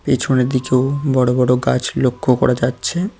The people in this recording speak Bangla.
পেছনের দিকেও বড়ো বড়ো গাছ লক্ষ করা যাচ্ছে।